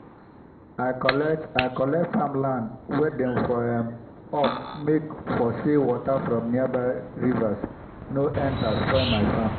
i collect i collect farm land wen dey for um up make for say water from nearby rivers nor enta spoil my farm